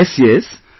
Yes sir...